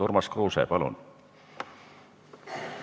Urmas Kruuse, palun!